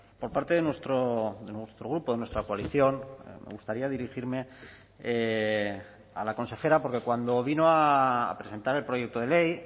por parte de nuestro grupo de nuestra coalición me gustaría dirigirme a la consejera porque cuando vino a presentar el proyecto de ley